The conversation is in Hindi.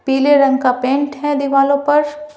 पीले रंग का पेंट है दीवालों पर--